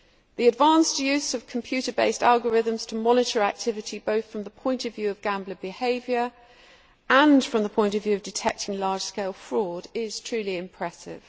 The advanced use of computer based algorithms to monitor activity both from the point of view of gambler behaviour and from the point of view of detecting large scale fraud is truly impressive.